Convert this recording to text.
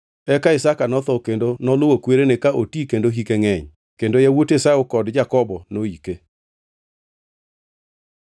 Eka Isaka notho kendo noluwo kwerene ka oti kendo hike ngʼeny. Kendo yawuot Esau kod Jakobo noyike.